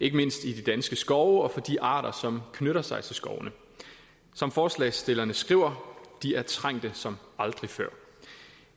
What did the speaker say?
ikke mindst i de danske skove og for de arter som knytter sig til skovene som forslagsstillerne skriver de er trængte som aldrig før